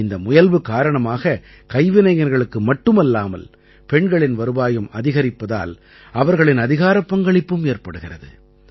இந்த முயல்வு காரணமாக கைவினைஞர்களுக்கு மட்டுமல்லாமல் பெண்களின் வருவாயும் அதிகரிப்பதால் அவர்களின் அதிகாரப் பங்களிப்பும் ஏற்படுகிறது